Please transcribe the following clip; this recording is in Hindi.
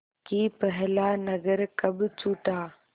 कि पहला नगर कब छूटा